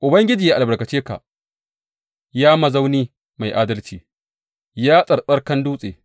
Ubangiji ya albarkace ka, ya mazauni mai adalci, ya tsarkakan dutse.’